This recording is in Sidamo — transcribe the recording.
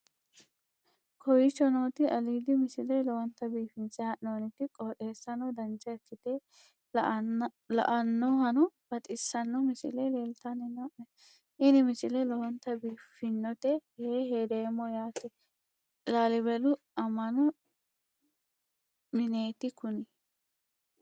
kowicho nooti aliidi misile lowonta biifinse haa'noonniti qooxeessano dancha ikkite la'annohano baxissanno misile leeltanni nooe ini misile lowonta biifffinnote yee hedeemmo yaate laalibelu amma'no mineeti kuni